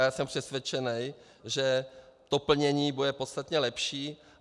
A já jsem přesvědčený, že to plnění bude podstatně lepší.